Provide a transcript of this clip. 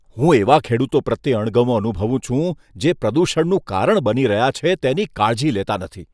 હું એવા ખેડૂતો પ્રત્યે અણગમો અનુભવું છું, જે પ્રદૂષણનું કારણ બની રહ્યા છે, તેની કાળજી લેતા નથી.